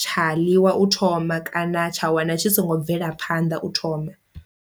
tsha ḽiwa u thoma kana tsha wana tshi songo bvela phanḓa u thoma.